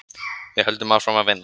Við höldum áfram að vinna.